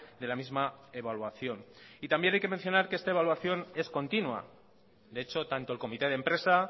de la misma evaluación y también hay que mencionar que esta evaluación es continua de hecho tanto el comité de empresa